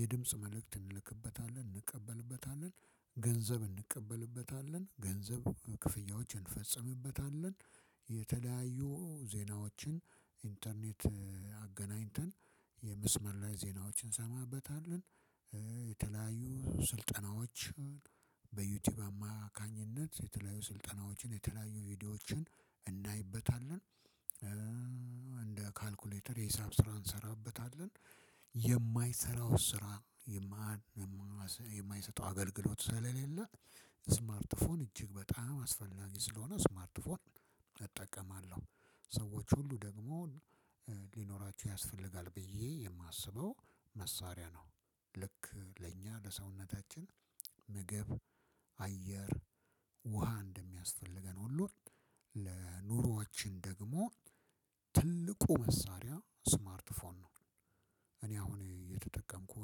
የድምጽ መልእክት እንልክበታለን። እንቀበልበታለን ገንዘብ እንቀበልበታለን። ገንዘብ ክፍያዎችን እንፈጽምበታለን የተለያዩ ዜናዎችን ኢንተርኔት- አገናኝተን የመስመር ላይ ዜናዎችን እንሰማበታለን። የተለያዩ ስልጠናዎችን በዩቲዩብ አማካኝነት የተለያዩ ስልጠናዎችን የተለያዩ ቪዲዮዎችን እናይበታለን። እንደ ካልኩሌተር የሂሳብ ስራ እንሰራበታለን የማይሰራው ስራ የማይሰጠው አገልግሎት ስለሌለ ስማርት ስልክ እጅግ በጣም አስፈላጊ ስለሆነ ስማርት ፎን እጠቀማለሁ። ሰዎች ሁሉ ደግሞ- ሊኖራችሁ ያስፈልጋል ብዬ የማስበው መሳሪያ ነው። ልክ ለእኛ ለሰውነታችን ምግብ :አየር :ውሃ እንደሚያስፈልገን ሁሉን ለኑሮዎችን ደግሞ- ትልቁ መሳሪያ ስማርት ፎን ነው። እኔ አሁን እየተጠቀምኩ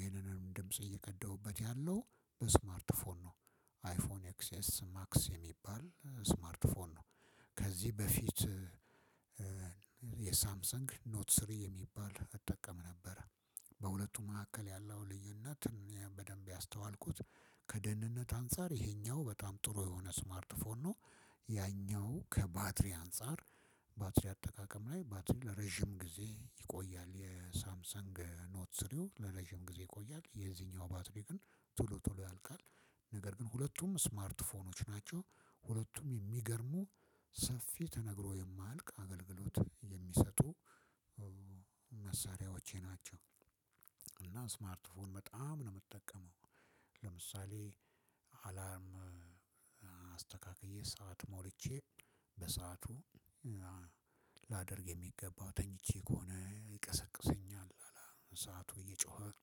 ይሄንንም ድምጽ እየቀደሁበት ያለው በስማርት ፎን ነው። አይፎን ኤክስኤስ ማክስ የሚባል ስማርት ፎን ነው። ከዚህ በፊት የሳምሰንግ ኖት ስሪ የሚባል እጠቀም ነበረ። በሁለቱ መካከል ያለው ልዩነት በደንብ ያስተዋልኩት ከደህንነት አንፃር ይሄኛው በጣም ጥሩ የሆነ ስማርት ፎርም ነው። ያኛው ከባትሪ አንፃር- ባትሪ አጠቃቀም ላይ ባትሪ ለረጅም ጊዜ ይቆያል የሳምሰንግ ኖት ስሪው። ለለዥም ጊዜ ይቆያል። የዚህኛው ባትሪ ግን ቶሎ ቶሎ ያልቃል። ነገር ግን ሁለቱም ስማርት ፎኖች ናቸው። ሁለቱም የሚገርሙ- ሰፊ ተነግሮ የማያልቅ አገልግሎት የሚሰጡ መሳሪያዎቼ ናቸው። እና ስማርት ፎን በጣም ነው የምትጠቀመው። ለምሳሌ:- አላርም አስተካክዬ ሰዓት ሞልቼ በሰአቱ ላደርግ የሚገባው ተኝቼ ከሆነ ይቀሰቅሰኛል። ሰዓቱ እየጮኸ-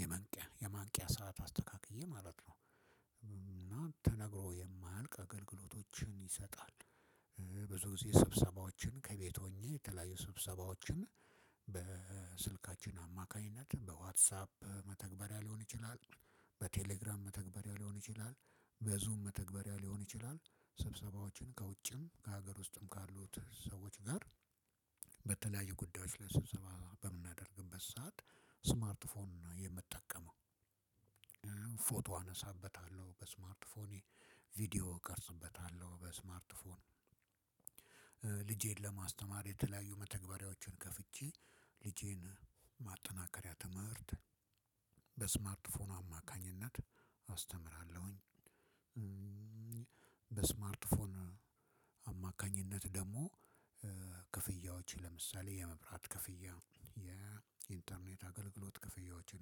የማንቂያ የማንቂያ ሰዓት አስተካክዬ ማለት ነው። እና ተነግሮ የማያልቅ አገልግሎቶችን ይሰጣል። ብዙ ጊዜ ስብሰባዎችን ከቤት ሆኜ የተለያዩ ስብሰባዎችን በስልካችን አማካኝነት በዋትሳፕ መተግበሪያ ሊሆን ይችላል- በቴሌግራም መተግበሪያ ሊሆን ይችላል። በዙም መተግበሪያ ሊሆን ይቻላል። ስብሰባዎች ከውጭም ከሀገር ውስጥም ካሉት ሰዎች ጋር በተለያዩ ጉዳዮች ስብሰባ በምናደርግበት ሰዓት ስማርት ፎን ነው የምጠቀመው። ፎቶ አነሳበታለሁ። በስማርትፎኔ ቪዲዮ እቀርጽበታለሁ። በስማርትፎኔ- ለማስተማር የተለያዩ መተግበሪያዎችን ከፍቼ ልጄን ማጠናከሪያ ትምህርት በስማርት ፎን አማካኝነት አስተምራለሁኝ። በስማርትፎን አማካኝነት ደግሞ ክፍያዎች ለምሳሌ የመብራት ክፍያ የኢንተርኔት አገልግሎት ክፍያዎችን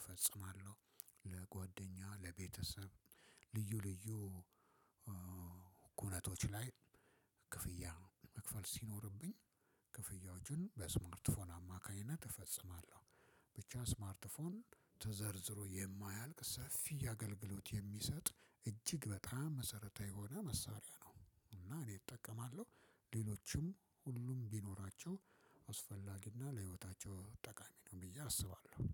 እፈጽማለሁ። ለጓደኛዋ ለቤተሰብ ልዩ ልዩ-- ኩነቶች ላይ ክፍያ መክፈል ሲኖርብኝ ክፍያዎችን በስማርትፎን አማካኝነት እፈጽማለሁ። ብቻ ስማርትፎን ተዘርዝሮ የማያልቅ ሰፊ አገልግሎት የሚሰጥ እጅግ በጣም መሰረታዊ የሆነ መሳሪያ ነው። እና እኔ እጠቀማለሁ። ሌሎችም ሁሉም ቢኖራቸው አስፈላጊና ለህይወታቸው ጠቃሚ ነው ብዬ አስባለሁ።